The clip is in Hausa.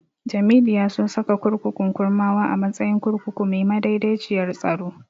Jamilu ya so saka kurkukun Kurmawa a matsayin kurkuku mai madaidaiciyar tsaro.